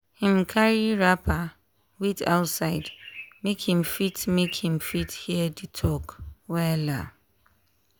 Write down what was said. him carry wrapper wait outside make him fit make him fit hear the talk wella.